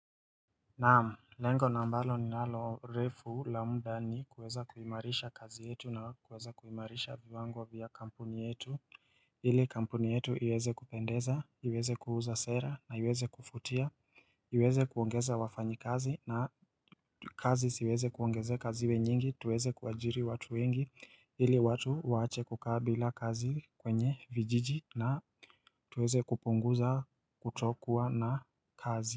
Naam, lengo ambalo ninalo refu la muda ni kuweza kuimarisha kazi yetu na kuweza kuimarisha viwango vya kampuni yetu ili kampuni yetu iweze kupendeza, iweze kuuza sera na iweze kuvutia, iweze kuongeza wafanyi kazi na kazi ziweze kuongezeka ziwe nyingi, tuweze kuwajiri watu wengi, ili watu waache kuka bila kazi kwenye vijiji na tuweze kupunguza kutokua na kazi.